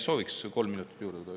Sooviks kolm minutit juurde.